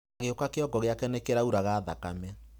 Agĩuka kĩongo gĩake nĩ kĩrauraga thakame.